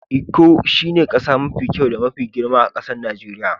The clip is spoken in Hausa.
lkko shine kasa mafi kyau da mafi girma a'kasan Nijeriya.